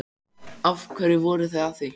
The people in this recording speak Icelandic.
Af hverju voruð þið að því?